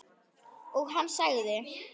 Og hann sagði